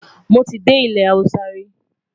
mọ tí dé ilé Hausa ri